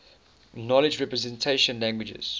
knowledge representation languages